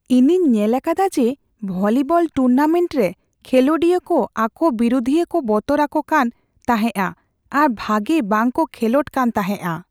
ᱤᱧᱤᱧ ᱧᱮᱞ ᱟᱠᱟᱫᱟ ᱡᱮ ᱵᱷᱚᱞᱤᱵᱚᱞ ᱴᱩᱨᱱᱟᱢᱮᱱᱴ ᱨᱮ ᱠᱷᱮᱞᱚᱰᱤᱭᱟᱹ ᱠᱚ ᱟᱠᱚ ᱵᱤᱨᱩᱫᱷᱤᱭᱟᱹ ᱠᱚ ᱵᱚᱛᱚᱨ ᱟᱠᱚ ᱠᱟᱱ ᱛᱟᱦᱮᱸᱜᱼᱟ ᱟᱨ ᱵᱷᱟᱜᱮ ᱵᱟᱝᱠᱚ ᱠᱷᱮᱞᱳᱰ ᱠᱟᱱ ᱛᱟᱦᱮᱸᱜᱼᱟ ᱾